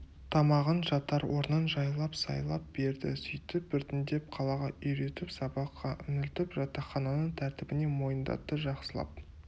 тамағын жатар орнын жайлап сайлап берді сөйтіп біртіндеп қалаға үйретіп сабаққа үңілтіп жатақхананың тәртібіне мойындатты жақсылап